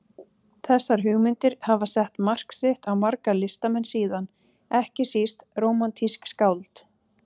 Þessar hugmyndir hafa sett mark sitt á marga listamenn síðan, ekki síst rómantísk skáld.